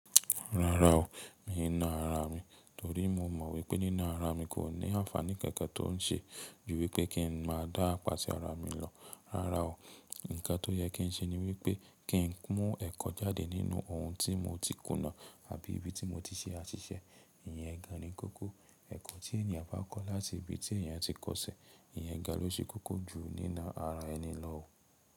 Rárá o, mi ò ná ara mi, torí mo mọ̀ wípé nína ara mi kò ní àǹfààní kankan tó ń ṣe ju wípé kí ń má dá ápà ṣi ara mi lọ. Rárá o, ǹkan tó yẹ kí ń ṣe ni wípé kí ń mú ẹ̀kọ́ jáde nínú ohun tí mo ti kùnà àbí ibi tí mo ti ṣe àṣìṣe. Ìyẹn gan-an ni kókó. Ẹ̀kọ́ tí ènìyàn bá kọ́ láti ibi tí ènìyàn ti kọ́sẹ̀, ìyẹn ga lo ṣe kókó ju nína ara ẹni lọ o.